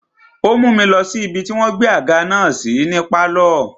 Ó mú mi lọ sí ibi tí wọ́n gbé àga náà sí ní pálọ̀.